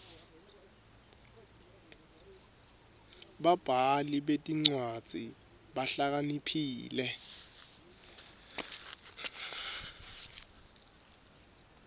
babhali betincwadzi bahlakaniphile